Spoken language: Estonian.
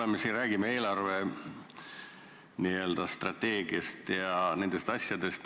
Me räägime eelarve n-ö strateegiast ja nendest asjadest.